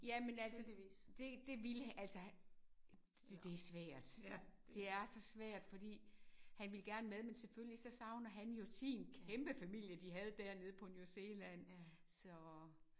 Jamen altså det det ville altså det det svært. Det er så svært fordi han ville gerne med men selvfølgelig så savner han jo sin kæmpe familie de havde dernede på New Zealand så